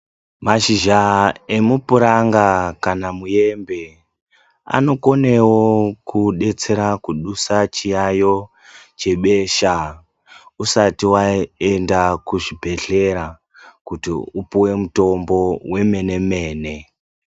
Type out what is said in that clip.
Mashizha emupuranga kana muembe anokonewo kudetsera kudusa chiyayo chebesha usati waenda kuchibhedhlera kuti upuwe mutombo wemene-mene.